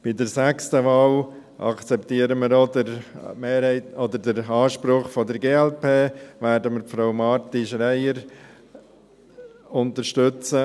Bei der sechsten Wahl akzeptieren wir den Anspruch der glp und werden Frau Marti-Schreier unterstützen.